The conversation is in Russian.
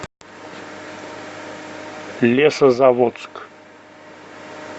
лесозаводск